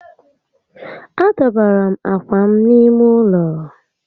A dọbara m ákwà m n'ime ụlọ